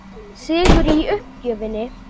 Sigur í uppgjöfinni.